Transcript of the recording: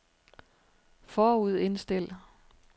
forudindstil